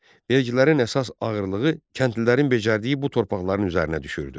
Vergilərin əsas ağırlığı kəndlilərin becərdiyi bu torpaqların üzərinə düşürdü.